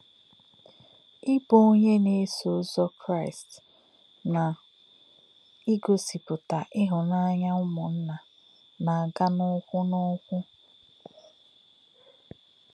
Íbụ̄ ọ̀nyé̄ nā̄-èsò̄ ṹzò̄ Kraị́st nā̄ ìgọ̀sìpụ̀tà̄ íhùnà̄nyá̄ ṹmù̄nnā̄ nā̄-ágà̄ ụ̀kwụ̄ nā̄ ụ̀kwụ̄.